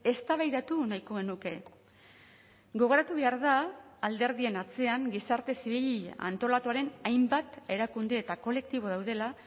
eztabaidatu nahiko genuke gogoratu behar da alderdien atzean gizarte zibil antolatuaren hainbat erakunde eta kolektibo daudela